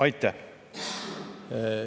Aitäh!